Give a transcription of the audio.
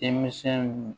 Denmisɛnw